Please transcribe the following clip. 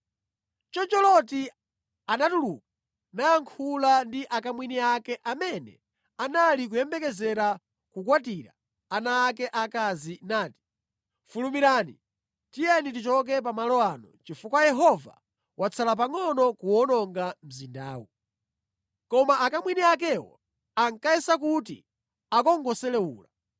Choncho Loti anatuluka nayankhula ndi akamwini ake amene anali kuyembekezera kukwatira ana ake akazi nati, “Fulumirani, tiyeni tichoke pa malo ano chifukwa Yehova watsala pangʼono kuwononga mzindawu.” Koma akamwini akewo ankayesa kuti akungoselewula.